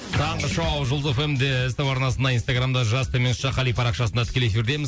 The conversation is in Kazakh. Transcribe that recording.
таңғы шоу жұлдыз эф эм де ств арнасында инстаграмда жас төмен ш қали парақшасында тікелей эфирдеміз